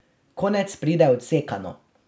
Konec pride odsekano.